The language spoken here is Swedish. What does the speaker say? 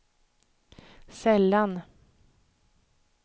sällan